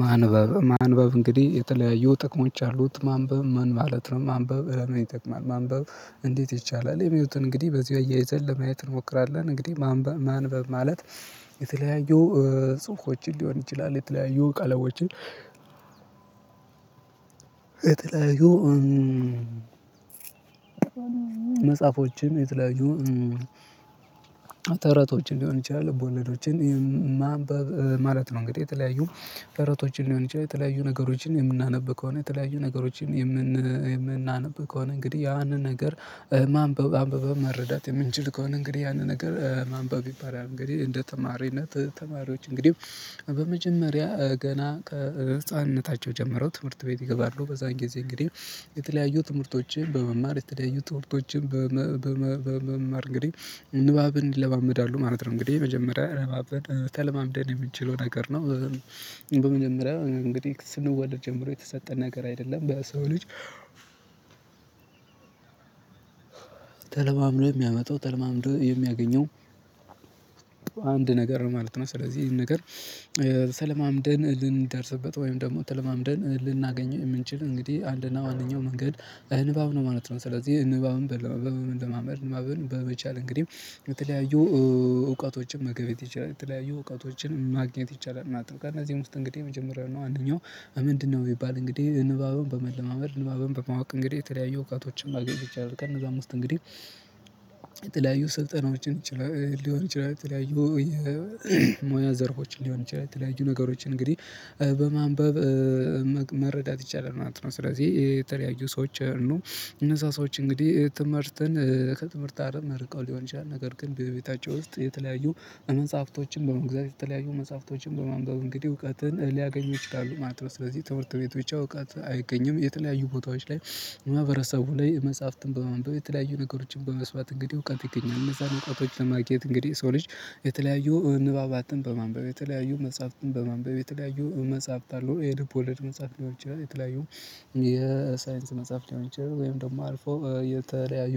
ማንበብ እንግዲህ የተለያየ ጥቅሞች አሉት ማንበብ ምን ማለት ነው? ማንበብ እረ ምን ይጠቅማል? ማንበብ እንዴት ይቻላል የሚሉትን እንግዲህ በዚህ እያይዘን ለማየት እንሞክራለን። እንግዲህ ማንበብ ማለት የተለያዩ ጽሁፎችን ሊሆን ይችላል። የተለያዩ ቀለሞችን የተለያዩ መጽሐፎችን የተለያዩ ተረቶች ሊሆን ይችላል ልቦለዶችን ማንበብ ማለት ነው። እንግዲህ የተለያዩ ተረቶችን ሊሆን ይችላል የተለያዩ ነገሮችን የምናነብ ከሆነ የተለያዩ ነገሮችን የምን የምናነብ ከሆነ እንግዲህ ያንን ነገር ማንበብ አንብበን መረዳት የምንችል ከሆነ እንግዲህ ያንን ነገር ማንበብ ይባላል። እንግዲህ እንደ ተማሪነት ተማሪዎች እንግዲህ በመጀመሪያ ገና ከህፃንነታቸው ጀመረው ትምህርት ቤት ይገባሉ። በዛን ጊዜ እንግዲህ የተለያዩ ትምህርቶችን በመማር የተለያዩ ትምህርቶችን በመማር እንግዲህ ንባብን ይለማመዳሉ ማለት ነው። እንግዲህ የመጀመሪያ አብረን ተለማምደን የምንችለው ነገር ነው። በመጀመሪያ እንግዲህ ስንወለድ ጀምሮ የተሰጠ ነገር አይደለም በሰው ልጅ ተለማምዶ የሚያመጣው ተለማምዶ የሚያገኘው አንድ ነገር ነው ማለት ነው። ስለዚህ ይሄን ነገር ተለማምደን ልንደርስበት ወይም ደግሞ ተለማምደን ልናገኘው የምንችል እንግዲህ አንድና ዋነኛው መንገድ ንባብ ነው ማለት ነው። ስለዚህ ንባብን በመለማመድ ንባብን በመቻል እንግዲህ በተለያዩ እውቀቶችን መገበየት ይቻላል በተለያዩ እውቀቶችን ማግኘት ይቻላል ማለት ነው። ከእነዚህ ውስጥ እንግዲህ የመጀመሪያው አንደኛው ምንድነው? የሚባል እንግዲህ ንባብን በመለማመድ ንባብን በማወቅ እንግዲህ የተለያዩ እውቀቶችን ማግኘት ይቻላል። ከነዚያም ዉስጥ እንግዲህ የተለያዩ ሰልጠናዎችን ይችላል ሊሆን ይችላል የተለያዩ የሞያ ዘርፎችን ሊሆን ይችላል የተለያዩ ነገሮችን እንግዲህ በማንበብ መረዳት ይቻላል ማለት ነው። ስለዚህ የተለያዩ ሰዎች ነው እነዛ ሰዎች እንግዲህ ትምህርትን ከትምህርት አለም ርቀው ሊሆን ይችላል ነገር ግን በቤታቸው ውስጥ የተለያዩ እመንጻፍቶችን በመንግዛት የተለያዩ መጽሐፍቶችን በማንበቡ እንግዲህ እውቀትን ሊያገኙ ይችላሉ ማለት ነው። ስለዚህ ትምህርት ቤት ብቻ እውቀት አይገኝም። የተለያዩ ቦታዎች ላይ ማህበረሰቡ ላይ መጽሐፍትን በማንበብ የተለያዩ ነገሮችን በመስማት እንግዲህ እውቀት ይገኛል። እነዛን እውቀቶች ለማግኘት እንግዲህ ሰው ልጅ የተለያዩ ንባባትን በማንበብ የተለያዩ መጽሐፍትን በማንበብ የተለያዩ መጽሐፍት አሉ ይሄ የልብ ወለድ መጽሐፍ ሊሆን ይችላል። የተለያዩ የሳይንስ መጽሐፍ ሊሆን ይችላል ወይም ደግሞ አልፎ የተለያዩ